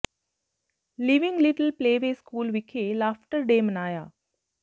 leaving Little Play Way School ਵਿਖੇ laughter day ਮਨਾਇਆ